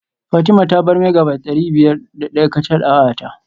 Fatima ta bar Megabyte dari biyar da daya kacal a wayata